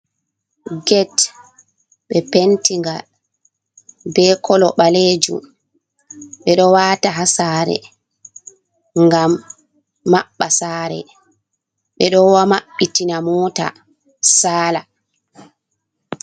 Get ɓe pentiga be kolo balejum, ɓe ɗo wata ha sare ngam maɓɓa sare, ɓeɗo maɓɓitina mota sala.